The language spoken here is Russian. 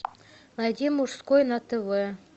найди мужской на тв